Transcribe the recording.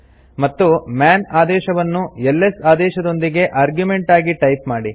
ಮತ್ತು ಮನ್ ಆದೇಶವನ್ನು ಎಲ್ಎಸ್ ಆದೇಶದೊಂದಿಗೆ ಆರ್ಗ್ಯುಮೆಂಟ್ ಆಗಿ ಟೈಪ್ ಮಾಡಿ